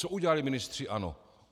Co udělali ministři ANO?